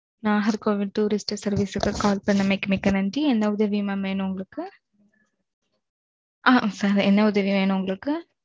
Nagercoil tourist service க்கு call பண்ணதுக்கு மிக்க நன்றி. என்ன உதவி mam வேணும் உங்களுக்கு? sir என்ன உதவி வேணும் உங்களுக்கு?